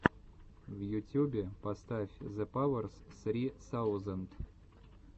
в ютюбе поставь зепаверс ссри саузенд